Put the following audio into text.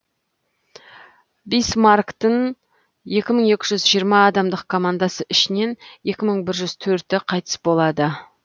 бисмарктін екі мың екі жүз жиырма адамдық командасы ішінен екі мың бір жүз төрті қайтыс болады